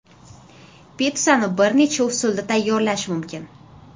Pitssani bir necha usulda tayyorlash mumkin.